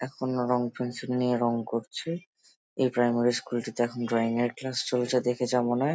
এখনও রঙ পেন্সিল নিয়ে রঙ করছে এই প্রাইমারি স্কুল টিতে এখন ড্রয়িং এর ক্লাস চলছে দেখে যা মনে হয়।